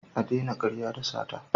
Ka daina karya da sata.